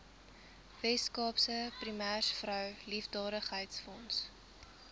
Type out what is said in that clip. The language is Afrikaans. weskaapse premiersvrou liefdadigheidsfonds